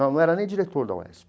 Não não era nem diretor da UESP.